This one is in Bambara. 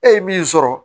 E ye min sɔrɔ